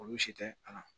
Olu si tɛ a la